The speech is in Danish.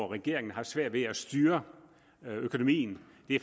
regeringen har svært ved at styre økonomien